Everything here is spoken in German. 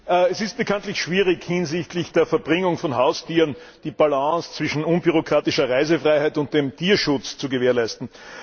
Herr Präsident! Es ist bekanntlich schwierig, hinsichtlich der Verbringung von Haustieren die Balance zwischen unbürokratischer Reisefreiheit und dem Tierschutz zu gewährleisten.